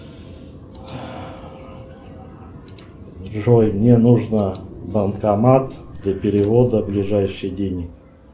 джой мне нужно банкомат для перевода ближайший денег